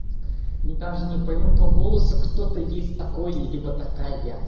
даже не пойму по голосу кто-то есть такой либо такая